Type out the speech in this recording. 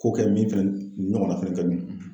Ko kɛ min fɛnɛ nin ɲɔgɔnna fɛnɛ kɛ dun ?